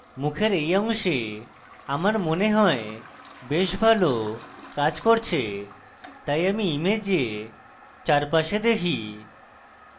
মুখের এই অংশে আমার মনে হয় বেশ ভালো কাজ করছে তাই আমি image চারপাশে দেখি